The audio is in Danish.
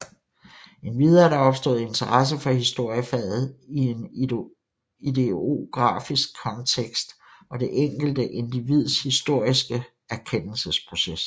Endvidere er der opstået interesse for historiefaget i en ideografisk kontekst og det enkelte individs historiske erkendelsesproces